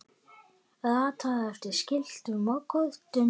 ratað eftir skiltum og kortum